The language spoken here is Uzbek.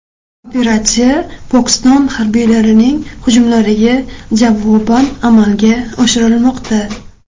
Operatsiya Pokiston harbiylarining hujumlariga javoban amalga oshirilmoqda.